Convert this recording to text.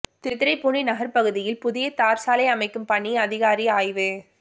திருத்துறைப்பூண்டி நகர் பகுதியில் புதிய தார்சாலை அமைக்கும் பணி அதிகாரி ஆய்வு